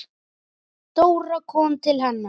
Dóra kom til hennar.